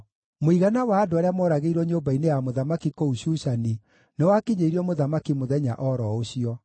Mũigana wa andũ arĩa mooragĩirwo nyũmba-inĩ ya mũthamaki kũu Shushani nĩwakinyĩirio mũthamaki mũthenya o ro ũcio.